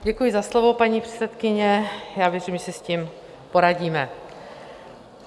Děkuji za slovo, paní předsedkyně, já myslím, že si s tím poradíme.